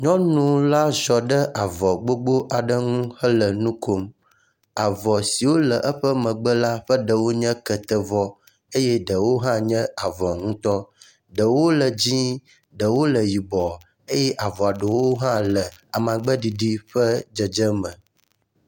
nyɔnu la ziɔ ɖe avɔ gbogbó aɖe ŋu le nukom avɔ siwo le eƒe megbe la ƒe ɖewo nye kete vɔ eye ɖewo hã nye avɔ nutɔ ɖewo le dzĩe ɖewo le yibɔ eye ɖewo hã le amagbe ɖiɖi ƒe dzedze me